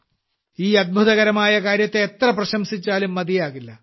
ഈ അത്ഭുതകരമായ കാര്യത്തെ എത്ര പ്രശംസിച്ചാലും മതിയാകില്ല